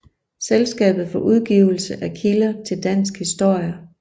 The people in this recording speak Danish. Selskabet for udgivelse af kilder til dansk historie